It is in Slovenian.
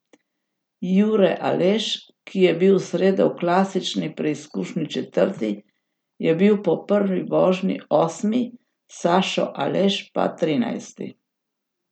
Jure Aleš, ki je bil v sredo v klasični preizkušnji četrti, je bil po prvi vožnji osmi, Sašo Aleš pa trinajsti.